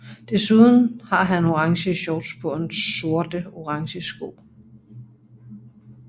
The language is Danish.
Desuden har han orange shorts på og sorte og orange sko